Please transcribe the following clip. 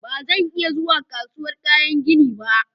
Ba zan iya zuwa kasuwar kayan gini ba.